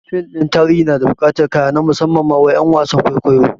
Fim ɗin tarihi yana bukatar kaya na musamman ma wa ƴan wasan kwaikwayo